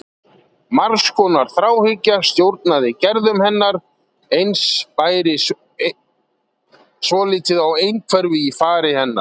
Margs konar þráhyggja stjórnaði gerðum hennar og eins bæri svolítið á einhverfu í fari hennar.